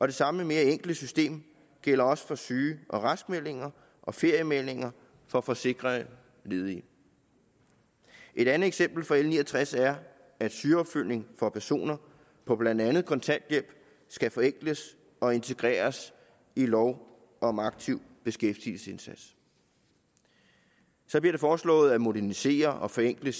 det samme mere enkle system gælder også for syge og raskmeldinger og feriemeldinger for forsikrede ledige et andet eksempel fra l ni og tres er at sygeopfølgning for personer på blandt andet kontanthjælp skal forenkles og integreres i lov om aktiv beskæftigelsesindsats så bliver det foreslået at modernisere og forenkle